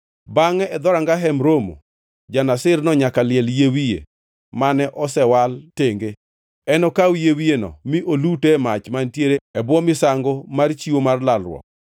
“ ‘Bangʼe e dhoranga Hemb Romo, ja-Nazirno nyaka liel yie wiye mane osewal tenge. Enokaw yie wiyeno mi olute e mach mantiere e bwo misango mar chiwo mar lalruok.